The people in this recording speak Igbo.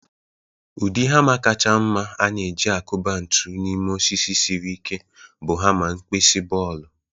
Ụdị hama kacha mma a na-e-ji akuba ntu n'ime osisi siri ike bụ hama nkpisi bọọlụ.